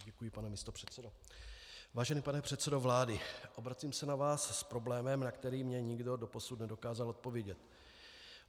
Vážený pane předsedo vlády, obracím se na vás s problémem, na který mi nikdo doposud nedokázal odpovědět.